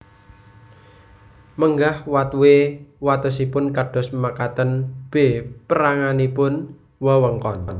Menggah watwe watesipun kados makaten B Peranganipun wewengkon